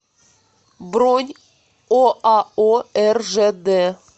бронь оао ржд